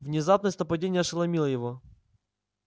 внезапность нападения ошеломила его